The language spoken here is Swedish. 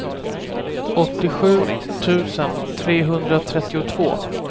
åttiosju tusen trehundratrettiotvå